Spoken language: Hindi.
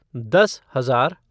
दस हजार